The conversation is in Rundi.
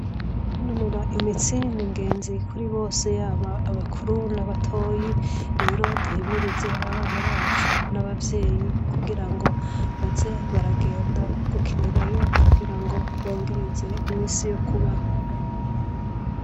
Kunonora imitsi ni ingenzi kuri bose yaba abakuru n'abatoyi rero duhimirize abana bacu n'abavyeyi kugira ngo baze baragenda gukinirayo kugira ngo bongereze imisi yo kubaho.